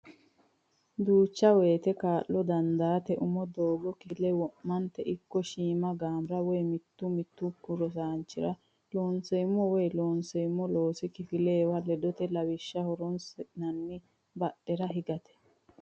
Duucha woyte kaa lo dandaate umi doogo kifile wo mate ikko shiima gaamora woy mittu mittunku rosaanchi o ra Looseemmo woy Loonseemmo loosi kifilewa ledote lawishsha horonsi nanni badhera higate.